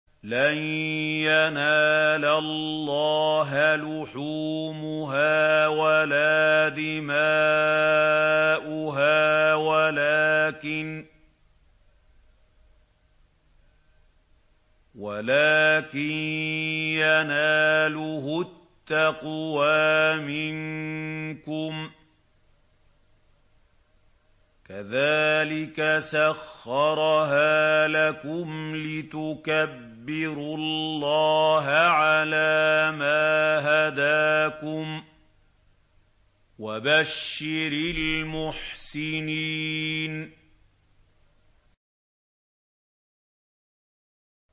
لَن يَنَالَ اللَّهَ لُحُومُهَا وَلَا دِمَاؤُهَا وَلَٰكِن يَنَالُهُ التَّقْوَىٰ مِنكُمْ ۚ كَذَٰلِكَ سَخَّرَهَا لَكُمْ لِتُكَبِّرُوا اللَّهَ عَلَىٰ مَا هَدَاكُمْ ۗ وَبَشِّرِ الْمُحْسِنِينَ